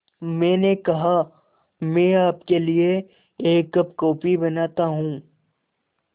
मैंने कहा मैं आपके लिए एक कप कॉफ़ी बनाता हूँ